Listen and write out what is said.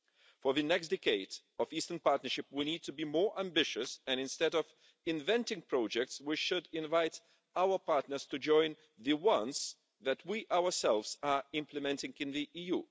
For the next decade of the Eastern Partnership, we need to be more ambitious and, instead of inventing projects, we should invite our partners to join the ones that we ourselves are implementing in the EU.